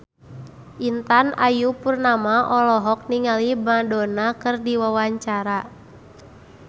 Intan Ayu Purnama olohok ningali Madonna keur diwawancara